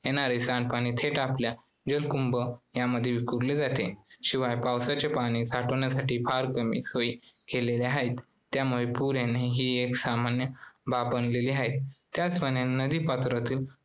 येणारे सांडपाणी थेट आपल्या जलकुंभ यामध्ये विखुरले जाते. शिवाय पावसाचे पाणी साठविण्यासाठी फार कमी सोयी केलेल्या आहेत त्यामुळे पूर येणे ही एक सामान्य बाब बनलेली आहे. त्याचप्रमाणे नदीपात्रातील